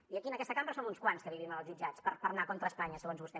i aquí en aquesta cambra som uns quants que vivim en els jutjats per anar contra espanya segons vostè